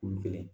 Kulu kelen